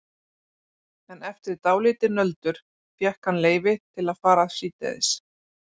En eftir dálítið nöldur fékk hann leyfi til að fara síðdegis.